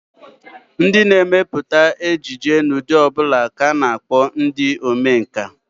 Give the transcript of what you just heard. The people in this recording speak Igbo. Ndị na-emepụta ejije n'ụdị ọ bụla ka a na-akpọ ndị omenkà